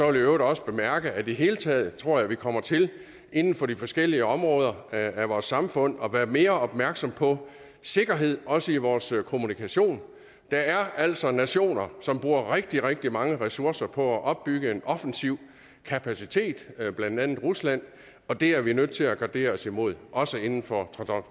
øvrigt også bemærke at det hele taget tror at vi kommer til inden for de forskellige områder af vores samfund at være mere opmærksom på sikkerhed også i vores kommunikation der er altså nationer som bruger rigtig rigtig mange ressourcer på at opbygge en offensiv kapacitet blandt andet rusland og det er vi nødt til at gardere os imod også inden for